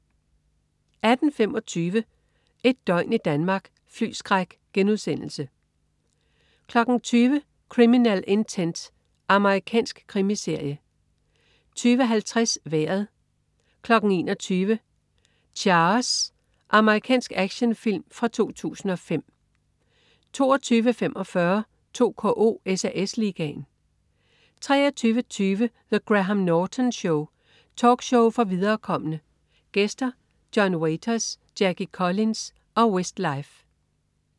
18.25 Et døgn i Danmark: Flyskræk* 20.00 Criminal Intent. Amerikansk krimiserie 20.50 Vejret 21.00 Chaos. Amerikansk actionfilm fra 2005 22.45 2KO: SAS Ligaen 23.20 The Graham Norton Show. Talkshow for viderekomne. Gæster: John Waters, Jackie Collins og Westlife